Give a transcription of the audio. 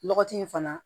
Lɔgɔti in fana